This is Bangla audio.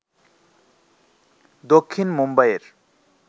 দক্ষিণ মুম্বাইয়ের